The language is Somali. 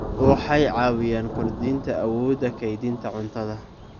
Waxay caawiyaan kordhinta awoodda kaydinta cuntada.